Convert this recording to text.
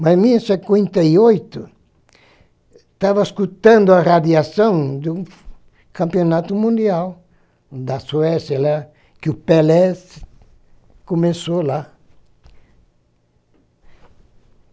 Mas em mil e cinquenta e oito, estava escutando a radiação de um campeonato mundial da Suécia, né, que o Pelé começou lá.